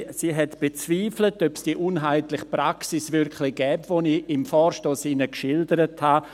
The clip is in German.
Sie hat bezweifelt, ob es diese uneinheitliche Praxis wirklich gibt, die ich Ihnen im Vorstoss geschildert habe.